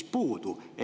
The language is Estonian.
puudu.